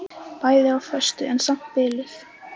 Bæði á föstu en samt biluð.